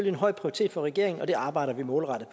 en høj prioritet for regeringen og det arbejder vi målrettet